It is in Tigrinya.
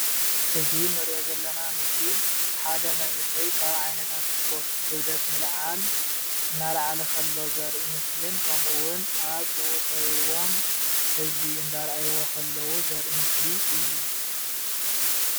እዚ ንሪኦ ዘለና ምስሊ ሓደ መንእሰይ ካብ ዓይነታት እስፖርት ክብደት ምልዓል አናልዓለ ከሎ ዘረኢ ምስሊን ከምኡ እዉን ኣብ ጥቕኡ ከቢቦም ህዝቢ እንዳረኣይዎ ከለዉ ዘርኢ ምስሊ እዩ።